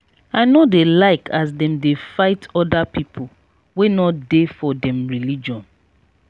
i no dey like as dem dey fight other pipu wey no dey for dem religion.